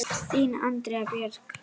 Þín Andrea Björk.